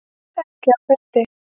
Ekki á fundi.